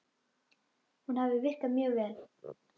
Hún hafi virkað mjög vel.